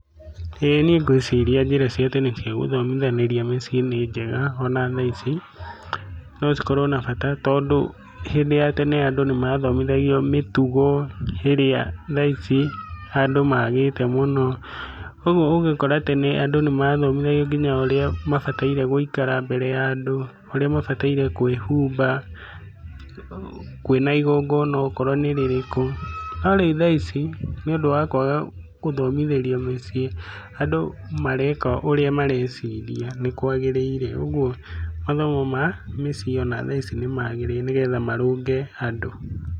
ĩĩ niĩ ngwĩciria njĩra cia tene cia gũthomithanĩria mũciĩ nĩ njega ona thaici. No cikorwo na bata tondũ hĩndĩ ya tene andũ nĩ mathomithagio mĩtugo ĩrĩa thaici andũ magĩte mũno. Ũguo ũgĩkora atĩ andũ nĩmathomithagio nginya ũrĩa mabataire gũikara mbere ya andũ, ũrĩa mabataire kũĩhumba kwina igongona okorwo nĩ rĩrĩkũ, no rĩu thaici, nĩ ũndũ wa kwaga gũthomithĩrio mĩciĩ, andũ mareka ũrĩa mareciria nĩkwagĩrĩire. Oguo mathomo ma mĩciĩ ona thaici nĩmagĩrĩire nĩgetha marũnge andũ.